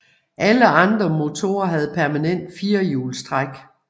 Alle andre motorer havde permanent firehjulstræk